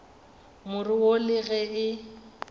more wo le ge e